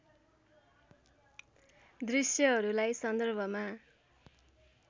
दृश्यहरूलाई सन्दर्भमा